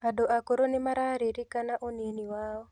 Andũ akũrũ nĩmararirikana ũnini wao